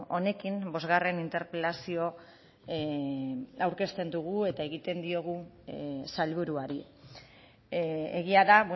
honekin bosgarren interpelazioa aurkezten dugu eta egiten diogu sailburuari egia da